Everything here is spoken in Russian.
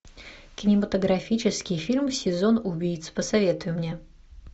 кинематографический фильм сезон убийц посоветуй мне